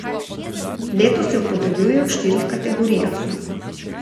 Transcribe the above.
Letos jo podeljujejo v štirih kategorijah.